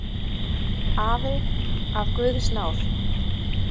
Afi af guðs náð.